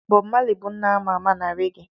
Bobu Mali bụ nna a ma ama na rege.